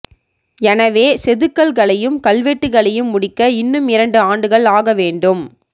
எனவே செதுக்கல்களையும் கல்வெட்டுகளையும் முடிக்க இன்னும் இரண்டு ஆண்டுகள் ஆக வேண்டும்